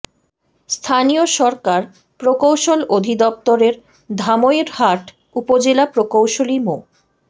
স্থানীয় সরকার প্রকৌশল অধিদপ্তর এর ধামইরহাট উপজেলা প্রকৌশলী মো